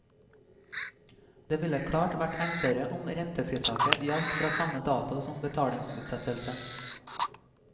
Det ville klart vært enklere om rentefritaket gjaldt fra samme dato som betalingsutsettelsen.